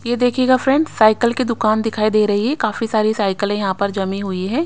ये देखिएगा friends cycle की दुकान दिखाई दे रही है काफी सारी साइकल यहां पर जमी हुई है।